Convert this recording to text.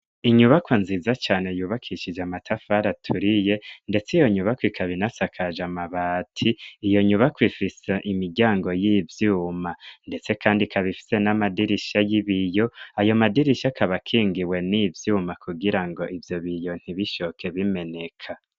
Inyubako nziza cane yubakishije amatafara aturiye, ndetse iyo nyubako ikabinasakaje amabati iyo nyubako ifise imiryango y'ivyuma, ndetse, kandi kabifise n'amadirisha y'ibiyo ayo madirisha akabakingiwe n'ivyuma kugira ngo ivyo biyo ntibishoke bimeneka.